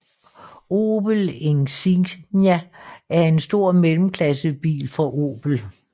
Opel Insignia er en stor mellemklassebil fra Opel